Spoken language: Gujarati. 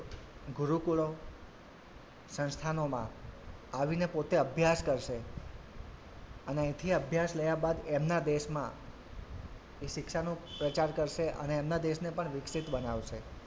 ગુરુકુળો સંસ્થાનોમાં આવીને પોતે અભ્યાસ કરશે અને અહીંથી અભ્યાસ લયા બાદ એમના દેશમાં એ શિક્ષાનો પ્રચાર કરશે અને એમનાં દેશને પણ વિકસિત બનાવશે.